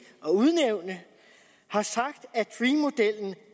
at udnævne har sagt